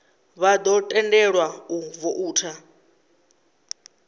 vha ḓo tendelwa u voutha